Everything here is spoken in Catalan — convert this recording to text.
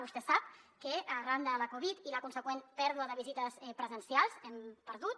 vostè sap que arran de la covid i la consegüent pèrdua de visites presencials hem perdut